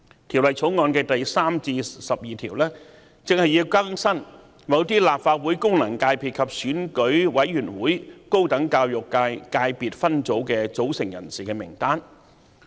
《條例草案》第3至12條正正旨在更新某些立法會功能界別及選舉委員會高等教育界界別分組的組成人士的名單。